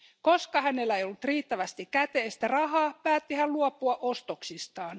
Koska hänellä ei ollut riittävästi käteistä rahaa, päätti hän luopua ostoksistaan.